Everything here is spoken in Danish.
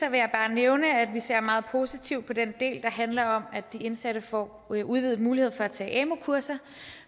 bare nævne at vi ser meget positivt på den del der handler om at de indsatte får en udvidet mulighed for at tage amu kurser